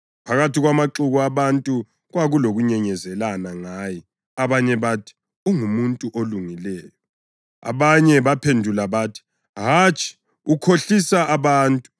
Phakathi kwamaxuku abantu kwakulokunyenyezelana ngaye. Abanye bathi, “Ungumuntu olungileyo.” Abanye baphendula bathi, “Hatshi, ukhohlisa abantu.”